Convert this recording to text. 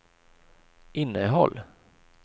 innehåll